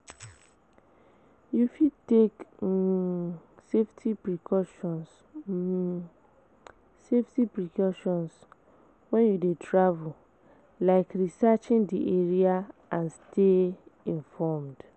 You fit take um safety precautions um safety precautions when you dey travel, like researching di area and stay informed.